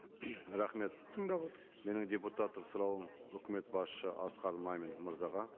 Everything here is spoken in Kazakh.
рахмет тыңдап отырмыз менің депутаттық сұрауым үкімет басшысы асқар мамин мырзаға